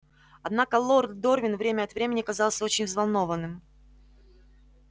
однако лорд дорвин время от времени казался очень взволнованным